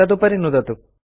तदुपरि नुदतु